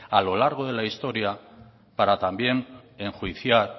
a lo largo de la historia para también enjuiciar